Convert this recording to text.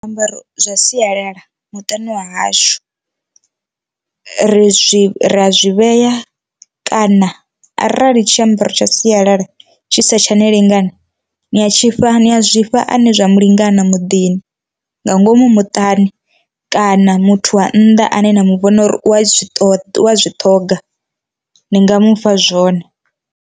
Zwiambaro zwa sialala muṱani wa hashu ri zwi ri a zwi vhea kana arali tshiambaro tsha sialala tshi sa tshani lingani ni a tshi fha ha zwifha ane zwa mu lingana muḓini nga ngomu muṱani kana muthu wa nnḓa ane nda mu vhona uri u a zwi ṱoḓa zwi ṱhoga ni nga mu fha zwone.